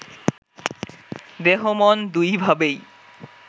দেহ-মন দুইভাবেই